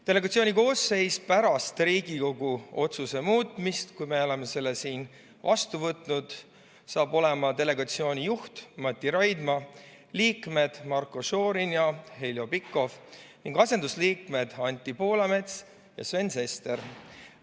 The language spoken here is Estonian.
Delegatsiooni koosseis pärast Riigikogu otsuse muutmist, kui me oleme selle siin vastu võtnud, on järgmine: delegatsiooni juht Mati Raidma, liikmed Marko Šorin ja Heljo Pikhof ning asendusliikmed Anti Poolamets ja Sven Sester.